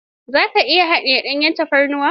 Za ka iya hadiyar danyen tafarnuwa?